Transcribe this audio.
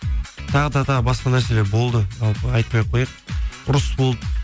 тағы да тағы басқа нәрселер болды жалпы айтпай ақ қояйық ұрыс болды